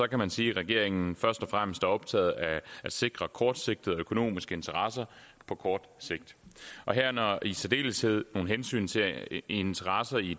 kan man sige at regeringen først og fremmest er optaget af at sikre kortsigtede økonomiske interesser og i særdeleshed nogle hensyn til interesser i